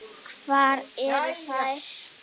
Hvar eru þær?